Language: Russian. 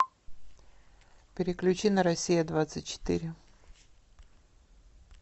переключи на россия двадцать четыре